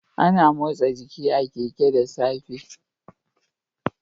Ana motsa giki a Keke da safe